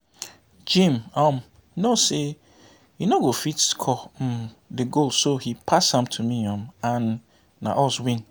Jim um know say he no go fit score um the goal so he pass am to me um and na us win